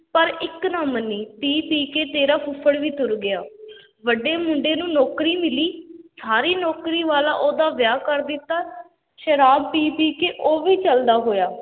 ਪਰ ਇੱਕ ਨਾ ਮੰਨੀ ਪੀ ਪੀ ਕੇ ਤੇਰਾ ਫੁੱਫੜ ਵੀ ਤੁਰ ਗਿਆ ਵੱਡੇ ਮੁੰਡੇ ਨੂੰ ਨੌਕਰੀ ਮਿਲੀ, ਸਾਰੀ ਨੌਕਰੀ ਵਾਲਾ ਉਹਦਾ ਵਿਆਹ ਕਰ ਦਿੱਤਾ, ਸ਼ਰਾਬ ਪੀ-ਪੀ ਕੇ ਉਹ ਵੀ ਚਲਦਾ ਹੋਇਆ।